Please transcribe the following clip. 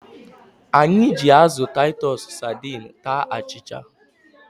Anyị ji azụ Taịtus sadiin taa achịcha.